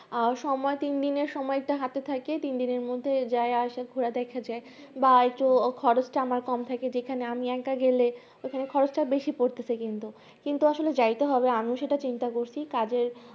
আর সময় তিন দিন এর সময় হাতে থাকে তিন দিনের মধ্যে যাই আসা ঘুরে দেখা যাই ভা একটু খরচটা আমার কম থাকে যেখানে আমি বাক্য গেলে সেখানে খরচটা বেশি পড়তেছে কিন্তু কিন্তু আসলে যাইতে হবে আমিও দশটা চিন্তা করছি কাজের